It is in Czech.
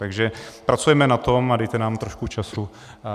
Takže pracujeme na tom a dejte nám trošku času.